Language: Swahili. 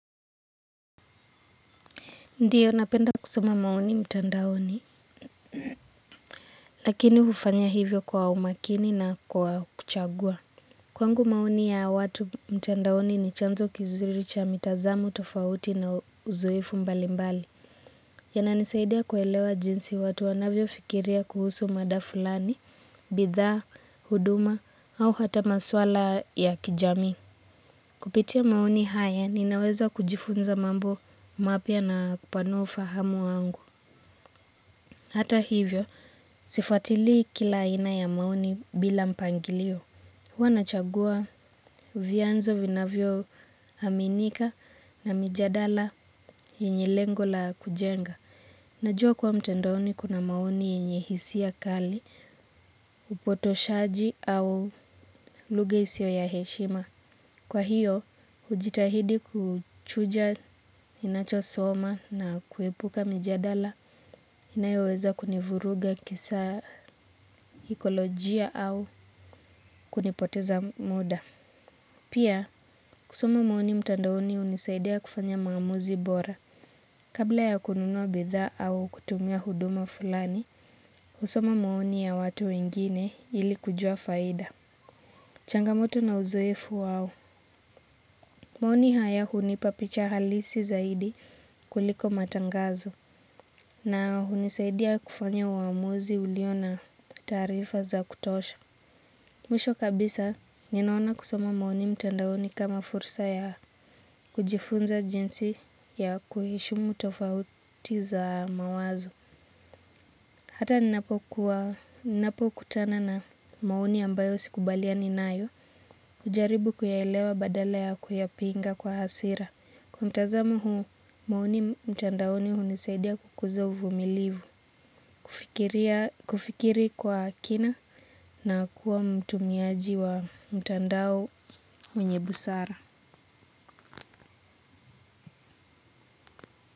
Ndiyo, napenda kusoma maoni mtandaoni, lakini hufanya hivyo kwa umakini na kwa kuchagua. Kwangu maoni ya watu mtandaoni ni chanzo kizuri cha mitazamo tofauti na uzoefu mbali mbali. Yananisaidia kuelewa jinsi watu wanavyofikiria kuhusu mada fulani, bidhaa, huduma au hata masuala ya kijamii. Kupitia maoni haya, ninaweza kujifunza mambo mapya na kupanua ufahamu wangu. Hata hivyo, sifatilii kila aina ya maoni bila mpangilio. Huwa nachagua vyanzo vinavyoaminika na mijadala yenye lengo la kujenga. Najua kuwa mtandoni kuna maoni yenye hisia kali, upotoshaji au lugha isiyo ya heshima. Kwa hiyo, hujitahidi kuchuja ninachosoma na kuepuka mijadala inayoweza kunivuruga kisaikolojia au kunipoteza muda. Pia, kusoma maoni mtandaoni hunisaidia kufanya maamuzi bora. Kabla ya kununua bidhaa au kutumia huduma fulani, kusoma maoni ya watu wengine ili kujua faida. Changamoto na uzoefu wao. Maoni haya hunipa picha halisi zaidi kuliko matangazo na hunisaidia kufanya uamuzi uliona taarifa za kutosha. Mwisho kabisa, ninaona kusoma maoni mtandaoni kama fursa ya kujifunza jinsi ya kuheshimu tofauti za mawazo. Hata ninapo kutana na maoni ambayo sikubaliani nayo, hujaribu kuyaelewa badala ya kuyapinga kwa hasira. Kwa mtazamu huu, maoni mtandaoni hunisaidia kukuza uvumilivu, kufikiri kwa kina na kuwa mtumiaji wa mtandao mwenye busara.